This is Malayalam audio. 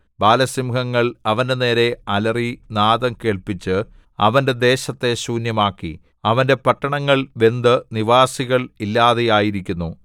ബാലസിംഹങ്ങൾ അവന്റെനേരെ അലറി നാദം കേൾപ്പിച്ച് അവന്റെ ദേശത്തെ ശൂന്യമാക്കി അവന്റെ പട്ടണങ്ങൾ വെന്തു നിവാസികൾ ഇല്ലാതെയായിരിക്കുന്നു